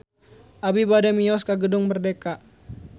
Abi bade mios ka Gedung Merdeka